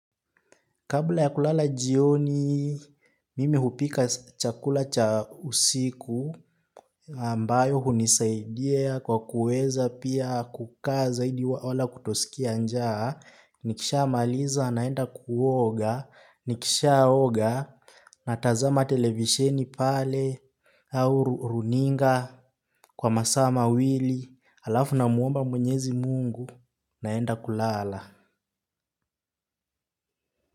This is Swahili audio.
Kabla ya kulala jioni, mimi hupika chakula cha usiku, ambayo hunisaidia kwa kuweza pia kukaa zaidi wala kutosikia njaa, nikishamaliza naenda kuoga, nikishaoga natazama televisheni pale, au runinga, kwa masaa mawili, halafu namuomba mwenyezi mungu, naenda kulala.